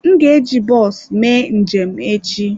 M ga-eji bọs mee njem echi.